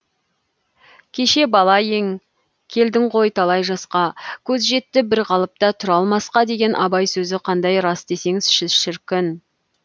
кеше бала ең келдің ғой талай жасқа көз жетті бір қалыпта тұра алмасқа деген абай сөзі қандай рас десеңші шіркін